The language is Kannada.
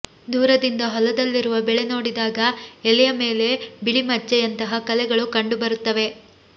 ದೂರದಿಂದ ಹೊಲದಲ್ಲಿರುವ ಬೆಳೆ ನೋಡಿದಾಗ ಎಲೆಯ ಮೇಲೆ ಬಿಳಿಮಚ್ಚೆ ಯಂತಹ ಕಲೆಗಳು ಕಂಡುಬರುತ್ತವೆ